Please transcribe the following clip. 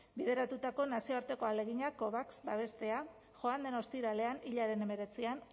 bideratutako nazioarteko ahalegina covax babestea joan den ostiralean hilaren hemeretzian